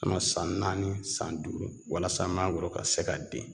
Ka na san naani san duuru walasa manangoro ka se ka den